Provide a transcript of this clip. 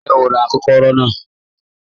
Ńjẹ́ o rà ipakòkòrò naa?